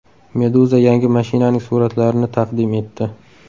Meduza yangi mashinaning suratlarini taqdim etdi .